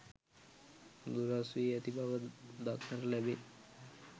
දුරස් වී ඇති බවක් දක්නට ලැබේ.